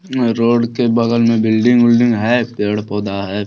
Road के बगल में बिल्डिंग - उल्डिंग है पेड़-पौधा है।